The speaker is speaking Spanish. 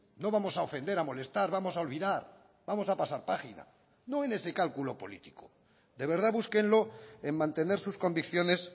no vamos a ofender a molestar vamos a olvidar vamos a pasar página no en ese cálculo político de verdad búsquenlo en mantener sus convicciones